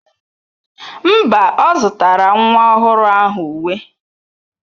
Mba, ọ zụtara nwa ọhụrụ ahụ uwe